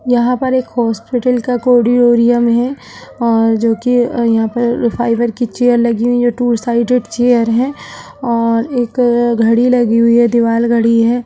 यहाँ पर एक हॉस्पिटल का कोर्रिडोरयम है और जो कि यहाँ पर फाइबर की चेयर लगी हुई है टू साइडेड चेयर हैं और एक घड़ी लगी हुई है दीवाल घड़ी है।